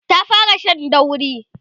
ta fara Shan dauri